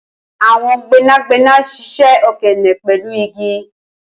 awọn gbẹnagbẹna ṣiṣẹ okeene pẹlu igi